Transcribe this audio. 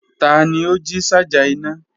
Tani o ji ṣaja ina?